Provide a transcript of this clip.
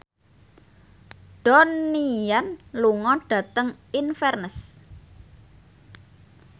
Donnie Yan lunga dhateng Inverness